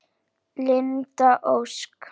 Linda Ósk.